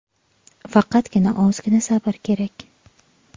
Faqatgina ozgina sabr kerak.